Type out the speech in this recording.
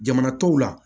Jamana tɔw la